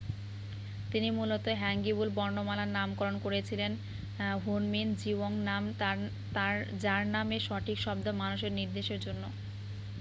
"তিনি মূলত হ্যাঙ্গিউল বর্ণমালার নামকরণ করেছিলেন হুনমিন জিওংনাম যার মানে "সঠিক শব্দ মানুষের নির্দেশের জন্য।""